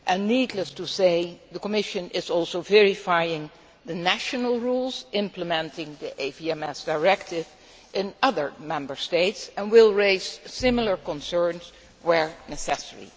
Needless to say, the Commission is also verifying the national rules implementing the AVMS Directive in other Member States and will raise similar concerns where necessary.